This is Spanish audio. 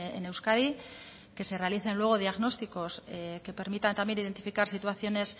en euskadi que se realicen luego diagnósticos que permitan también identificar situaciones